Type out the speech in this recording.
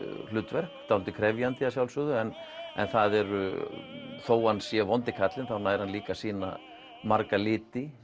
hlutverk dálítið krefjandi að sjálfsögðu en þó hann sé vondi kallinn þá nær hann líka að sýna marga liti